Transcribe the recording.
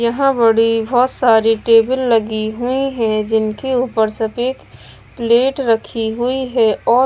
यहां बड़ी बहोत सारी टेबल लगी हुई है जिनके ऊपर सफेद प्लेट रखी हुई है और--